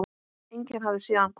Enginn hafði séð hann koma.